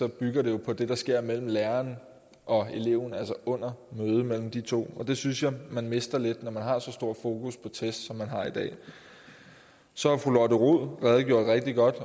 bygger jo på det der sker mellem lærer og elev altså under mødet mellem de to og det synes jeg man mister lidt når man har så stor fokus på test som man har i dag fru lotte rod redegjorde rigtig godt